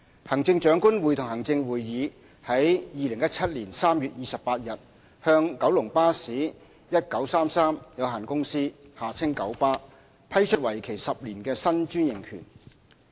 行政長官會同行政會議於2017年3月28日向九龍巴士有限公司批出為期10年的新專營權。